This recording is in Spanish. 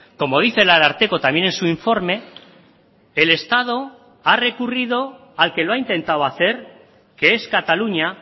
como dice el ararteko también en su informe el estado ha recurrido al que lo ha intentado hacer que es cataluña